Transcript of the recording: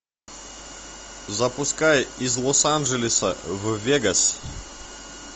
запускай из лос анджелеса в вегас